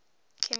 chemical